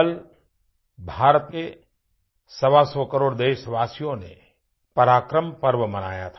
कल भारत के सवासौ करोड़ देशवासियों ने पराक्रम पर्व मनाया था